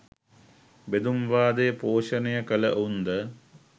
බෙදුම් වාදය පෝෂණය කලවුන්ද?